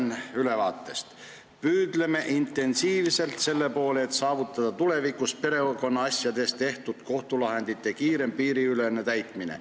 Loen ülevaatest: "Püüdleme intensiivselt selle poole, et saavutada tulevikus perekonnaasjades tehtud kohtulahendite kiirem piiriülene täitmine.